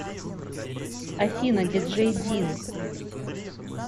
афина диджей дин